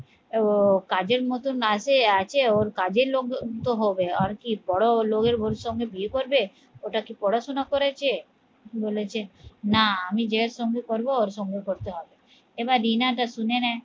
ও কাজের মতন আছে ওর কাজের লোকজন তো হবে আর কি বড লোকের ভবিষ্যতে বিয়ে করবে? ওটা কি পড়াশোনা করেছে? বলেছে না আমি যে এর সঙ্গে করবো ওর সঙ্গে করতে হবে এবার রিনা টা শুনে নে